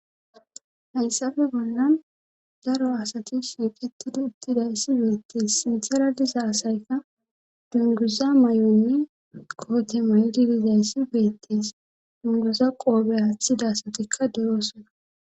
hayssafe bollan daro asati shiiqitidi uttiday ssi beettees simtharadisa asayka dunguza may7onni koote may7didizay ssi beettees dunguza qoobe haaththida asatikka deroosona